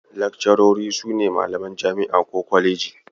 Lakcarori sune malaman jami'a ko kwaleji